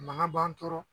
Mankan b'an tɔɔrɔ